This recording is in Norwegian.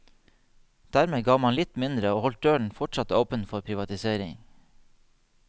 Dermed ga man litt mindre og holdt døren fortsatt åpen for privatisering.